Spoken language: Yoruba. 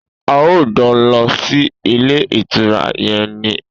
A óò jo̩ lo̩ sí ilé ìtura ye̩n ni!